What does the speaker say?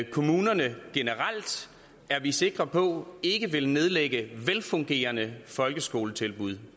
kommunerne generelt er vi sikre på ikke vil nedlægge velfungerende folkeskoletilbud